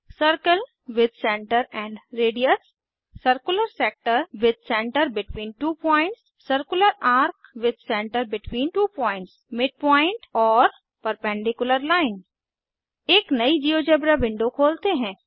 circle with centre and radius circular sector with centre between two points circular A R C with centre between two points midpoint और perpendicular line एक नयी GeoGebra window खोलते हैं